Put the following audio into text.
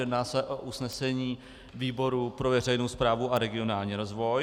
Jedná se o usnesení výboru pro veřejnou správu a regionální rozvoj.